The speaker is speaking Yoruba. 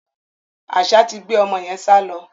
Àṣá ti gbé ọmọ yẹn sálọ.